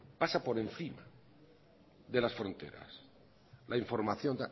pasa por encima de las fronteras la información